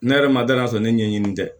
Ne yɛrɛ ma danaya sɔrɔ ne ɲɛɲini tɛ